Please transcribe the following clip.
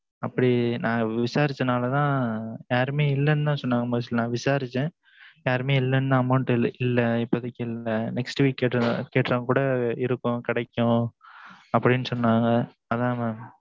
அப்படி நா விசாரிச்சா நாலதான் யாருமே இல்லனு தான் சொன்னங்க first நா விசாரிச்சன் யாருமே இல்ல amount இப்போதைக்கு இல்ல next week கேட்ட கூட இருக்கும்கிடைக்கும் அப்படினு சொன்னாங்க